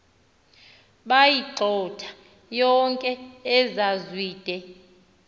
bayigxotha yonke ekazwide